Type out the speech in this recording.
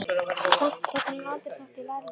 Og samt tók hún aldrei þátt í Lærlingnum.